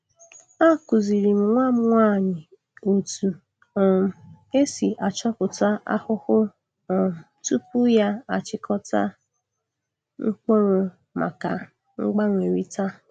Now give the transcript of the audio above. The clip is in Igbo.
Akuziri m nwa m nwanyi otu um e si achọpụta ahụhụ um tupu ya achịkọta mkpuru maka mgbanwerịta.